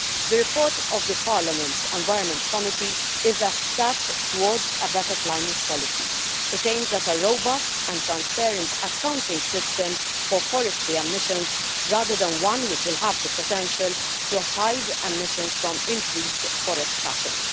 The report of the Parliament's Environment Committee is a step towards a better climate policy. It aims at a robust and transparent accounting system for forestry emissions rather than one which will have the potential to hide emissions from increased forest cutting.